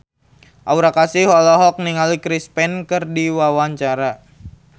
Aura Kasih olohok ningali Chris Pane keur diwawancara